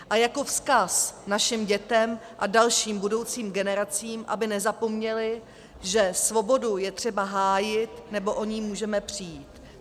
A jako vzkaz našim dětem a dalším budoucím generacím, aby nezapomněly, že svobodu je třeba hájit, nebo o ni můžeme přijít.